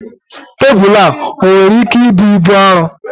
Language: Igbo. Tebụl ọ ga-enwe ike ibu ibu dị arọ?